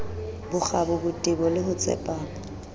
bokgabo botebo le ho tsepama